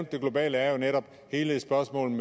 det globale er jo netop hele spørgsmålet